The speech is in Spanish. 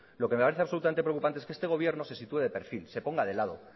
lo que me parece de absolutamente preocupante es que este gobierno se sitúe de perfil se ponga de lado